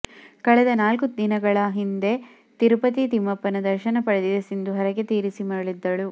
ಕಳೆದ ನಾಲ್ಕು ದಿನಗಳ ಹಿಂದೆ ತಿರುಪತಿ ತಿಮ್ಮಪ್ಪನ ದರ್ಶನ ಪಡೆದಿದ್ದ ಸಿಂಧು ಹರಕೆ ತೀರಿಸಿ ಮರಳಿದ್ದರು